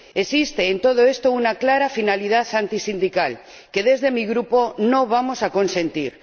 Existe en todo esto una clara finalidad antisindical que, desde mi Grupo, no vamos a consentir.